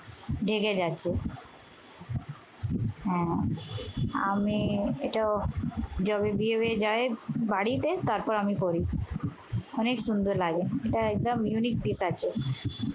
ঢেকে যাচ্ছে। হম আমি এটা যবে বিয়ে হয়ে যায় বাড়িতে তারপর আমি পড়ি। অনেক সুন্দর লাগে। এটা একদম unique দিক আছে।